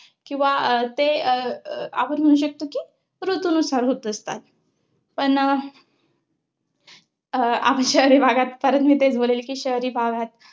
किंवा ते अं आपण म्हणू म्हणू शकतो कि, ऋतूनुसार होत असतात. पण अं अं शहरी भागात मी तेच बोलेन कि शहरी भागात